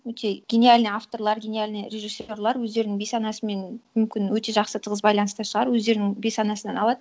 өте гениальный авторлар гениальный режиссерлар өздерінің бейсанасымен мүмкін өте жақсы тығыз байланыста шығар өздерінің бейсанасынан алады